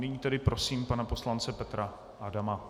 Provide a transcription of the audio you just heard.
Nyní tedy prosím pana poslance Petra Adama.